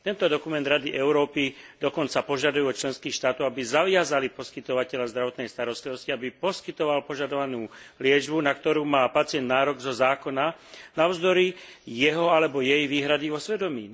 Tento dokument Rady Európy dokonca požaduje od členských štátov, aby zaviazali poskytovateľa zdravotnej starostlivosti, aby poskytoval požadovanú liečbu, na ktorú má pacient nárok zo zákona navzdory jeho alebo jej výhrady vo svedomí.